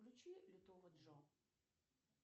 включи лютого джо